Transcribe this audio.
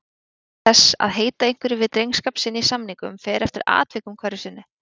Þýðing þess að heita einhverju við drengskap sinn í samningum fer eftir atvikum hverju sinni.